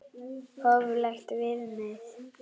Hóflegt viðmið?